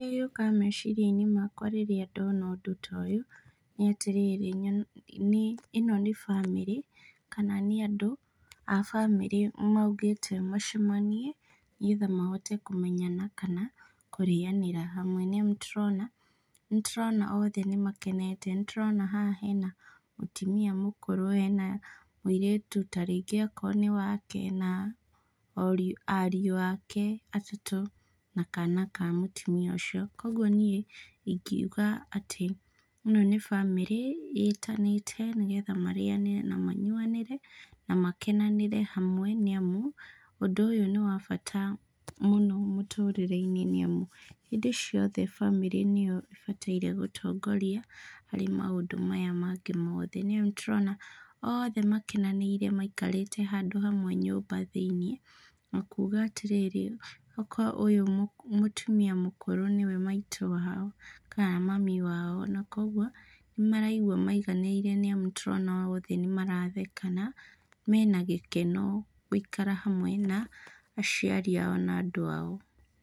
Kĩrĩa gĩũkaga meciria-inĩ makwa rĩrĩa ndona ũndũ ta ũyũ nĩ atĩrĩrĩ, ĩno nĩ bamĩrĩ kana nĩ andũ a bamĩrĩ maugĩte macemanie, nĩgetha mahote kũmenyana kana kũrianira hamwe nĩ amu tũrona, nĩ tũrona othe makenete nĩtũrona haha hena mũtũmia mũkũrũ ena mũirĩtu tarĩngĩ akorũo nĩ wake, na ariũ ake atatũ na kana ka mũtumia ũcio. Koguo niĩ ingiuga atĩ, ĩno nĩ bamĩrĩ ĩtanĩte nĩgetha marĩanire na manyuanĩre, na makenanĩre hamwe, nĩ amu ũndũ ũyũ nĩ wa bata mũno mũturĩre-inĩ nĩ amu, hĩndĩ ciothe bamĩrĩ nĩo ĩbataire gũtongoria, harĩ maũndũ maya mangĩ mothe nĩ amu tũrona, oothe makenaniire maikarĩte handũ hamwe nyũmba thĩinĩ na kuga atĩrĩrĩ, nokorwo ũyũ mũtũmia mũkũrũ nĩwe maitũ wao kana mami wao, na koguo nĩmaraigua maiganĩire nĩ amu tũrona othe nĩmaratheka, na mena gĩkeno gũikara hamwe na aciari ao na andũ ao.